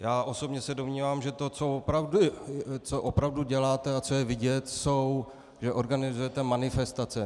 Já osobně se domnívám, že to, co opravdu děláte a co je vidět, je, že organizujete manifestace.